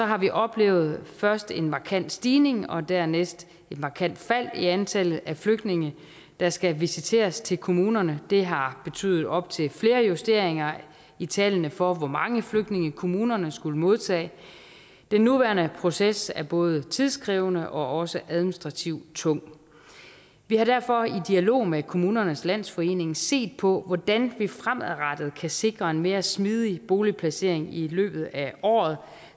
har vi oplevet først en markant stigning og dernæst et markant fald i antallet af flygtninge der skal visiteres til kommunerne det har betydet op til flere justeringer i tallene for hvor mange flygtninge kommunerne skulle modtage den nuværende proces er både tidkrævende og også administrativt tung vi har derfor i dialog med kommunernes landsforening set på hvordan vi fremadrettet kan sikre en mere smidig boligplacering i løbet af året